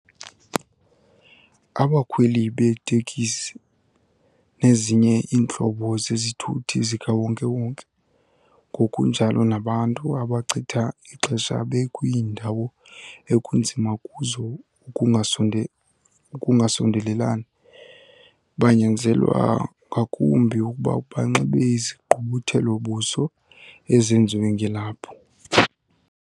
Abakhweli beetekisi nezinye iintlobo zezithuthi zikawonke-wonke, ngokunjalo nabantu abachitha ixesha bekwiindawo ekunzima kuzo ukungasondelelani, banyanzelwa ngakumbi ukuba banxibe izigqubuthelo-buso ezenziwe ngelaphu.